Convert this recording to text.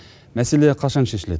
мәселе қашан шешіледі